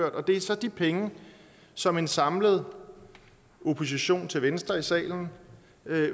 og det er så de penge som en samlet opposition til venstre i salen